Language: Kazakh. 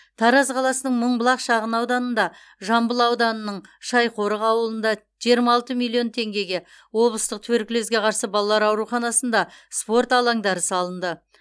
тараз қаласының мыңбұлақ шағын ауданында жамбыл ауданының шайқорық ауылында жиырма алты миллион теңгеге облыстық туберкулезге қарсы балалар ауруханасында спорт алаңдары салынды